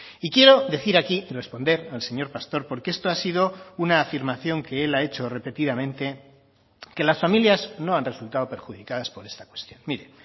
y quiero decir aquí y responder al señor pastor porque esto ha sido una afirmación que él ha hecho repetidamente que las familias no han resultado perjudicadas por esta cuestión mire